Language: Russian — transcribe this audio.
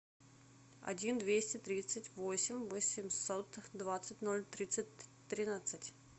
один двести тридцать восемь восемьсот двадцать ноль тридцать тринадцать